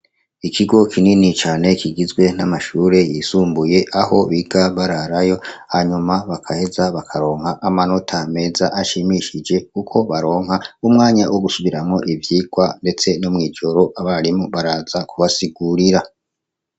Ikigo kinini cane gikizwe n'amashure y'isumbuye aho biga bararayo, hanyuma bagaheza bakaronka amanota meza ashimishije, kuko baronka umwanya wo gusubiramwo ivyigwa, ndetse no mw'ijoro abarimu baraza kubasigurira. .